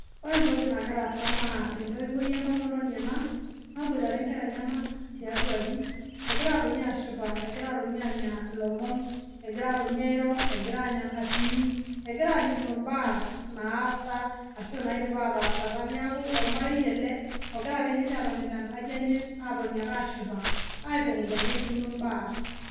Ore etoki nagira aasa naa, etoiwoi etomononi ena naboitare inkera enyenak, tiatua aji egira atoni ashipa egira atoni anya ilomon. Egira atoni airo, egira aanya enkatini. Egira alikino imbaa naasa ashu, naidipa ataasata . Neaku ormarei ele ogira ake ninche atoni tenkaji enye, atoni ake ashipa, aitukuja nelikino baa .